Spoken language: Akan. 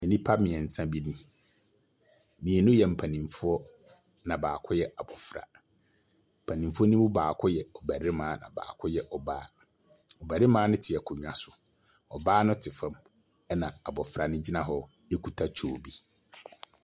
Nnipa bi mmiɛnsa bi ni. Mmienu yɛ mpanmfoɔ. Na baako yɛ abofra. Mpanimfoɔ no mu baako yɛ barima, baako yɛ ɔbaa. Barima no te akonnwa no. Ɔbaa no te fam. Ɛna abofra no gyina hɔ kuta tuo bi.